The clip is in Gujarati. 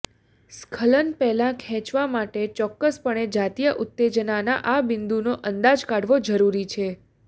સ્ખલન પહેલાં ખેંચવા માટે ચોક્કસપણે જાતીય ઉત્તેજનાના આ બિંદુનો અંદાજ કાઢવો જરૂરી છે